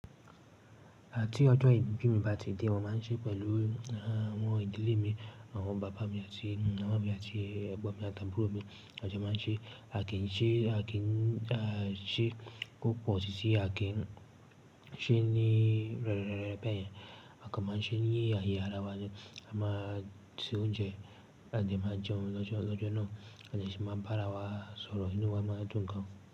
Àti ọjọ́ ìbí mi bá ti dé, mo máa ń ṣe pẹ̀lú àwọn ìdílé mi, àwọn bàbá mi àti màmá mi àti ẹ̀gbọ́n mi àti àbúrò mi. A jo máa ń ṣe, a kì í ṣe, a kì í ṣe kó pọ̀ sísi, a kì ń ṣe ní rẹ́rẹ́ bẹ́yẹ̀. A kan máa ń ṣe ní ayé ara wa ni, a máa se oúnjẹ àde máa jẹun lọ́jọ́, lọ́jọ́ náà àti sì máa ń bára wa sọ̀rọ̀, inú wa máa dùn gan.